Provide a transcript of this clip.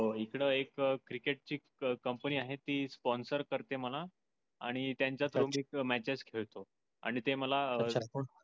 हो हिकड एक क्रिकेट ची company आहे ती sponsor करते मला. आणि त्येंच प्रत्येक matchs खेळतो. आणि ते मला